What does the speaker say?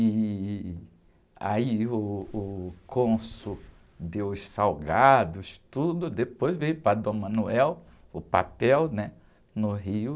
E aí uh, uh, o cônsul deu os salgados, tudo, depois veio para o papel, né? No Rio.